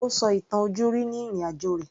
Ó sọ ìtàn ojúrí ni ìrìn-àjò rẹ̀